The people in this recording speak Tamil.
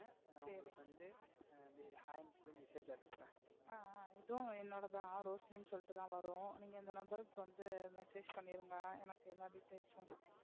இதுவும் என்னோடது தான் ரோஷினின்னு சொல்லிட்டு தான் வரும். நீங்க இந்த number க்கு வந்து message பன்னிருங்க எனக்கு எல்லா details யும்.